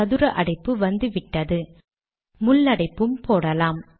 சதுர அடைப்பு வந்துவிட்டதுமுள் அடைப்பும் போடலாம்